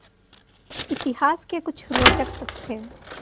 इतिहास के कुछ रोचक तथ्य